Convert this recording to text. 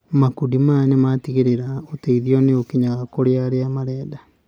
Makundi maya nĩ matigĩrĩraga ũteithio nĩ ũkinyaga kũrĩ arĩa marenda.